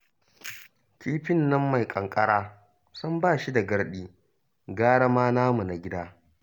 Kifin nan mai ƙanƙara sam ba shi da garɗi, gara ma namu na gida